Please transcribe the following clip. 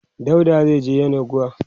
dauda zaije yenagoa